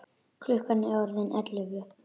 Klukkan er orðin ellefu.